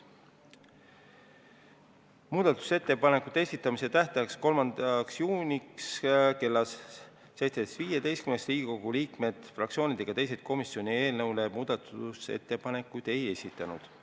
Muudatusettepanekute esitamise tähtajaks, 3. juuniks kella 17.15-ks Riigikogu liikmed, fraktsioonid ega teised komisjonid eelnõu kohta muudatusettepanekuid ei esitanud.